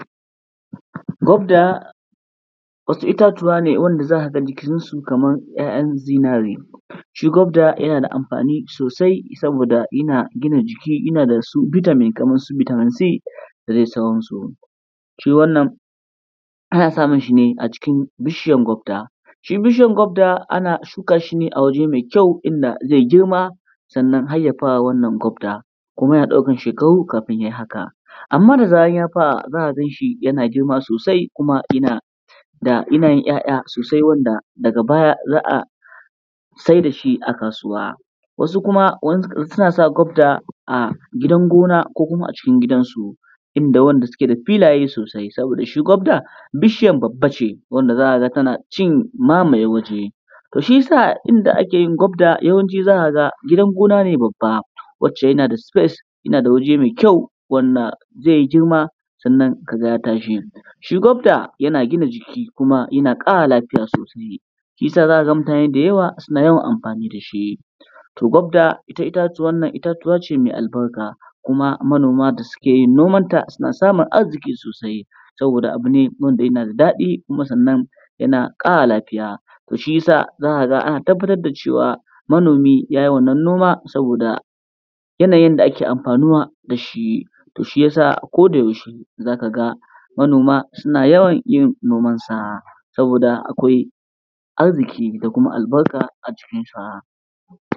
Gwabda wasu itatuwa ne wanda za ka ga jikinsu kamar 'ya'yan zinare. Shi gwabda yana da amfani sosai saboda yana gina jiki, yana da su bitamin, kamar su bitamin C da dai sauransu. Shi wannan ana samun shi ne a jikin shi bishiyan gwabda. Shi bishiyan gwabda ana shuka shi ne a waje mai kyau inda zai yi girma sannan har ya fara wannan gwabda, kuma yana ɗaukan shekaru kafin ya yi haka. Amma da zaran ya fara za ka ga shi yana girma sosai kuma yana da, yana yin 'ya'ya sosai da wanda daga baya za a saida shi a kasuwa. Wasu kuma suna sa gwabda a gidan gona ko kuma acikin gidansu, inda wanda suke da filayen sosai, saboda shi gwabda bishiyan babba ne wanda za ka ga tana cin mamaye waje. To shiyasa inda ake yin gwabda gidan gona ne babba, wacce yana da space, yana da waje mai kyau wanda zai yi girma ka ga ya tashi. Shi gwabda yana gina jiki kuma yana ƙara lafiya sosai, shiyasa za ka ga mutane dayawa suna yawan amfani da shi. To gwabda, ita itatuwa nan, itatuwa ce mai albarka kuma manoma da suke yin noma ta suna samun arziƙi sosai, saboda abu ne wanda yana da daɗi kuna yana ƙara lafiya. To shiyasa ana tabbatar da cewa manoma ya yi wannan noma saboda yanayin da ake amfanuwa da shi, to shi yasa a ko da yaushe za ka ga manoma suna yawan yin noma da, saboda akwai arziƙi da kuma albarka a cikinsa.